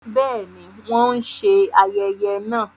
Bẹẹni, wọn n ṣe ayẹyẹ náà